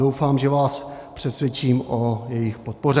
Doufám, že vás přesvědčím o jejich podpoře.